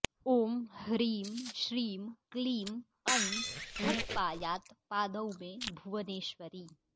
ॐ ह्रीं श्रीं क्लीं ऐं फट् पायात् पादौ मे भुवनेश्वरी